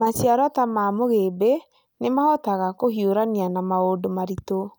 Maciaro ta ma mũgĩmbĩ nĩ mahotaga kũhiũrania na maũndũ maritũ.